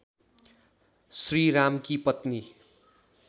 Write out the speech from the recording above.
श्रीरामकी पत्नी